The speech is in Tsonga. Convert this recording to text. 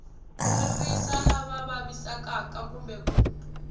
ririsa lava vavisekaka kumbe ku